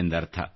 ಎಂದರ್ಥ